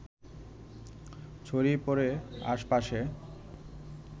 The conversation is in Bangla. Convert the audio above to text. ছড়িয়ে পড়ে আশপাশে